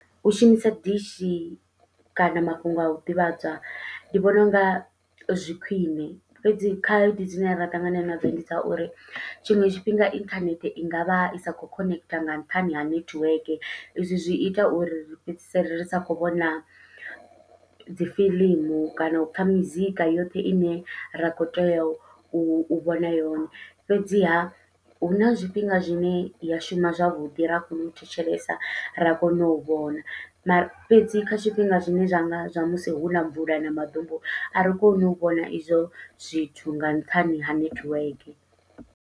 U shumisa dishi kana mafhungo au ḓivhadzwa, ndi vhona unga zwi khwiṋe fhedzi khaedu dzine ra ṱangana nadzo ndi dza uri tshiṅwe tshifhinga inthanethe i ngavha i sa kho khonentha nga nṱhani ha nethiweke, izwi zwi ita uri ri fhedzisele ri sa kho vhona dzi fiḽimu kana u pfha mizika yoṱhe ine ra kho tea u vhona yone. Fhedziha huna zwifhinga zwine ya shuma zwavhuḓi ra kona u tshila thetshelesa ra kona u vhona, mara fhedzi kha tshifhinga zwine zwa nga zwa musi huna mvula na maḓumbu a ri koni u vhona izwo zwithu nga nṱhani ha nethiweke.